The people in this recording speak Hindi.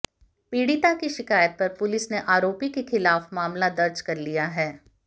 पीडि़ता की शिकायत पर पुलिस ने आरोपी के खिलाफ मामला दर्ज कर लिया है